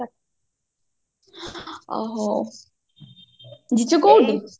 ଅ ହଉ ଜିଜୁ କୋଉଠି